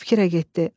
Fikirə getdi.